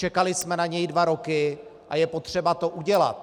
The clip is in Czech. Čekali jsme na něj dva roky a je potřeba to udělat.